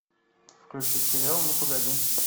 включи сериал ну погоди